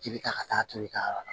I bɛ taa ka taa turu i ka yɔrɔ la